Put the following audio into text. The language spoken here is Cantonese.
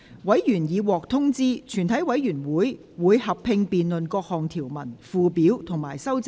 委員已獲通知，全體委員會會合併辯論各項條文、附表及修正案。